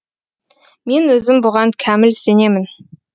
мен өзім бұған кәміл сенемін